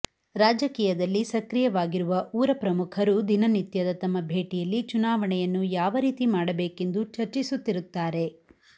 ರಾಜಕೀಯದಲ್ಲಿ ಸಕ್ರಿಯವಗಿರುವ ಊರ ಪ್ರಮುಖರು ದಿನನಿತ್ಯದ ತಮ್ಮ ಭೇಟಿಯಲ್ಲಿ ಚುನಾವಣೆಯನ್ನು ಯಾವ ರೀತಿ ಮಾಡಬೇಕೆಂದು ಚರ್ಚಿಸುತ್ತಿರುತ್ತಾರೆ